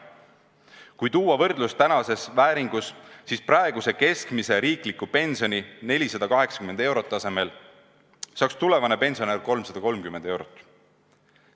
Kui tuua võrdlus tänases vääringus, siis praeguse keskmise riikliku pensioni – 480 eurot – asemel saaks tulevane pensionär 330 eurot.